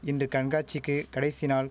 இன்று கண்காட்சிக்கு கடைசி நாள்